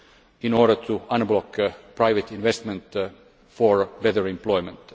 in order to unblock private investment for better employment.